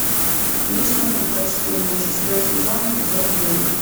личные предпочтения шестой сезон эпизод девять